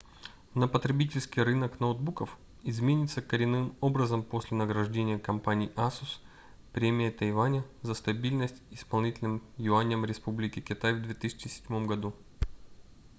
но потребительский рынок ноутбуков изменится коренным образом после награждения компании asus премией тайваня за стабильность исполнительным юанем республики китай в 2007 году